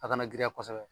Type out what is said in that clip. A kana girinya kosɛbɛ